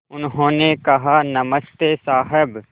उन्होंने कहा नमस्ते साहब